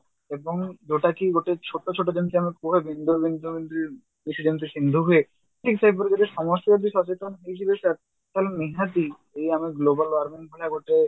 ଏବଂ ଯଉଟାକି ଗୋଟେ ଛୋଟ ଛୋଟ ଯେମିତି ଆମେ କୁହନ୍ତି କିଛି ଯେମତି ହୁଏ ଠିକ ସେହିପରି ଯଦି ସମସ୍ତେ ଯଦି ସଚେତନ ହେଇଯିବେ sir ତ ନିହାତି ଏଇ ଆମେ global warming ଭଳିଆ ଗୋଟେ